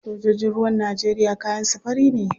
Sojojin ruwan Najeriya kayan su fari ne.